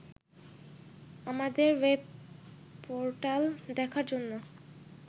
আমাদের ওয়েবপোর্টাল দেখার জন্য